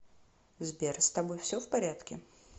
сбер с тобой все в порядке